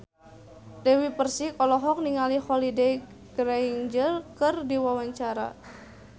Dewi Persik olohok ningali Holliday Grainger keur diwawancara